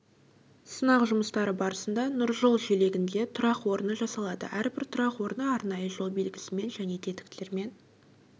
сынақ жұмыстары барысында нұржол желегінде тұрақ орны жасалады әрбір тұрақ орны арнайы жол белгісімен және тетіктермен